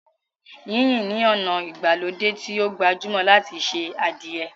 Yínyin ni ona ìgbàlódé tí o gbajúmò láti ṣe adìẹ.